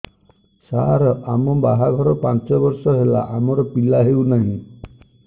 ସାର ଆମ ବାହା ଘର ପାଞ୍ଚ ବର୍ଷ ହେଲା ଆମର ପିଲା ହେଉନାହିଁ